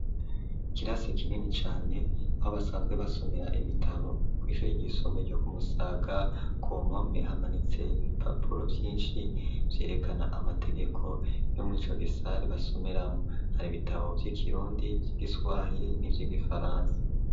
Ikirasi kinini cane aho basanzwe basomera ibitabo kw'shuri ryisumbeye ryo ku Musaga ku mpome hamanitse ibipapuro vyishi vyerekana amategeko yo murico gisare basomeramwo hari bitabo vy'ikirundi vy'igiswahi n'ivyigifaransa